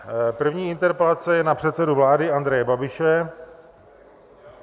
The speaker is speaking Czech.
První interpelace je na předsedu vlády Andreje Babiše.